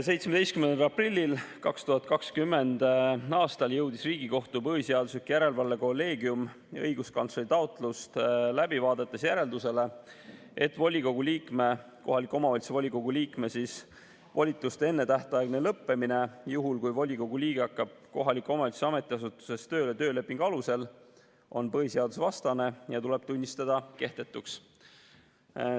17. aprillil 2020. aastal jõudis Riigikohtu põhiseaduslikkuse järelevalve kolleegium õiguskantsleri taotlust läbi vaadates järeldusele, et kohaliku omavalitsuse volikogu liikme volituste ennetähtaegne lõppemine, juhul kui volikogu liige hakkab kohaliku omavalitsuse ametiasutuses tööle töölepingu alusel, on põhiseadusvastane ja tuleb tunnistada kehtetuks.